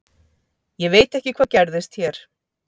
Ég veit ekki hvað gerðist hér.